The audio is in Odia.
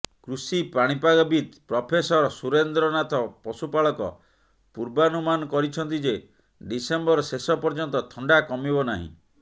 କୃଷି ପାଣିପାଗବିତ୍ ପ୍ରଫେସର ସୁରେନ୍ଦ୍ରନାଥ ପଶୁପାଳକ ପୂର୍ବାନୁମାନ କରିଛନ୍ତି ଯେ ଡିସେମ୍ବର ଶେଷ ପର୍ଯ୍ୟନ୍ତ ଥଣ୍ଡା କମିବ ନାହିଁ